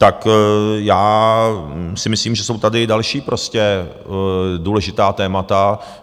Tak já si myslím, že jsou tady další prostě důležitá témata.